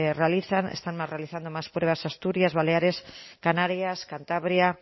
realizan están realizando más pruebas asturias baleares canarias cantabria